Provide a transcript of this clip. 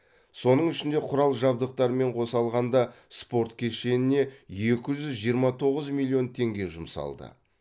соның ішінде құрал жабдықтарымен қоса алғанда спорт кешеніне екі жүз жиырма тоғыз миллион теңге жұмсалды